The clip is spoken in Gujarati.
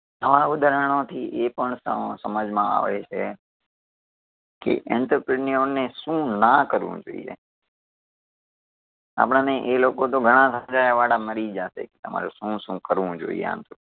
આવા ઉદાહરણો થી એ પણ સમ સમજમાં આવે છે કે entrepreneur ઓને શું ના કરવું જોઈએ. આપણને એ લોકો તો ઘણા મળી જશે, તમારે શું શું કરવું જોઈએ આંતર